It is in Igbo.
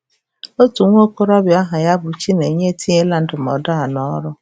Otu nwa okorobịa aha ya bụ Chinenye etinyela ndụmọdụ a n'ọrụ.